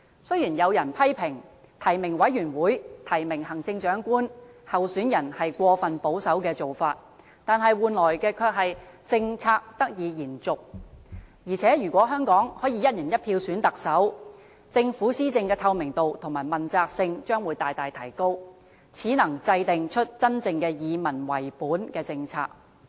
雖然有人批評提名委員會提名行政長官候選人是過分保守的做法，但換來的卻是政策得以延續，而且如果香港可以"一人一票"選特首，政府施政的透明度和問責性將會大大提高，始能真正制訂出真正以民為本的政策。